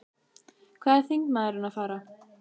Hvað er þingmaðurinn að fara?